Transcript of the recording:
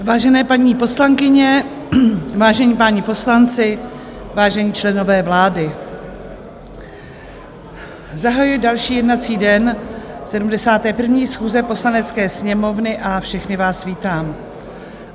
Vážené paní poslankyně, vážení páni poslanci, vážení členové vlády, zahajuji další jednací den 71. schůze Poslanecké sněmovny a všechny vás vítám.